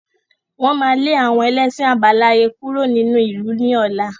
Wọn má lè àwọn ẹlẹ́ṣin àbáláyé kúrò nínú ìlú ni ọ̀la.